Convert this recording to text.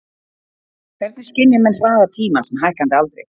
Hvernig skynja menn hraða tímans með hækkandi aldri?